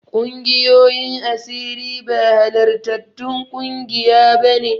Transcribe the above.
Ƙungiyoyin asiri ba halartattun ƙungiya bane.